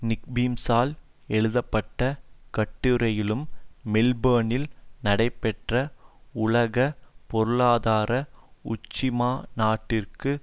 நிக்பீம்சால் எழுதப்பட்ட கட்டுரையிலும் மெல்போர்னில் நடைபெற்ற உலக பொருளாதார உச்சிமாநாட்டிற்கு